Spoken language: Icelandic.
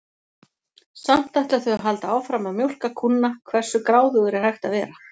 Samt ætla þau að halda áfram að mjólka kúnna, hversu gráðugur er hægt að vera?